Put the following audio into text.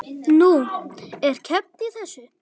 Nú, er keppt í þessu?